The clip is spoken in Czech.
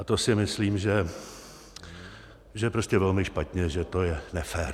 A to si myslím, že je prostě velmi špatně, že to je nefér.